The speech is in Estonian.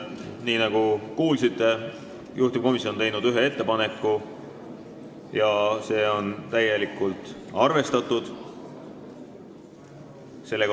Nii nagu kuulsite, juhtivkomisjon on teinud ühe ettepaneku ja see on täielikult arvestatud.